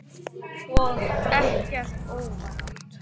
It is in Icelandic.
Og ekkert óvænt.